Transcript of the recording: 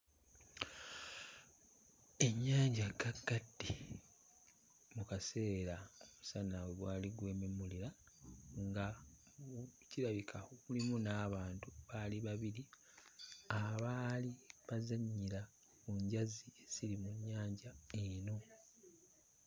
Ennyanja ggaggadde mu kaseera omusana we gwali gwememulira nga kirabika mulimu n'abantu baali babiri abaali bazannyira ku njazi eziri mu nnyanja eno.